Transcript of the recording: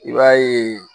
I b'a ye